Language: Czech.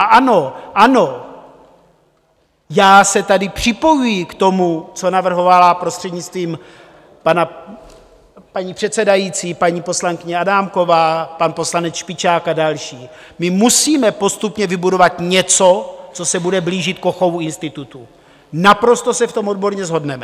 A ano, ano, já se tady připojuji k tomu, co navrhovala, prostřednictvím paní předsedající, paní poslankyně Adámková, pan poslanec Špičák a další - my musíme postupně vybudovat něco, co se bude blížit Kochovu institutu, naprosto se v tom odborně shodneme.